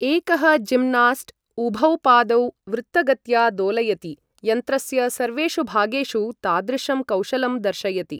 एकः जिम्नास्ट्, उभौ पादौ वृत्तगत्या दोलयति, यन्त्रस्य सर्वेषु भागेषु तादृशं कौशलं दर्शयति।